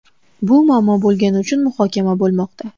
Bu muammo bo‘lgani uchun muhokama bo‘lmoqda.